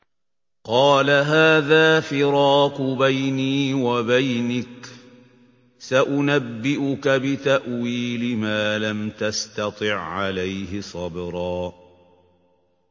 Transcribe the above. قَالَ هَٰذَا فِرَاقُ بَيْنِي وَبَيْنِكَ ۚ سَأُنَبِّئُكَ بِتَأْوِيلِ مَا لَمْ تَسْتَطِع عَّلَيْهِ صَبْرًا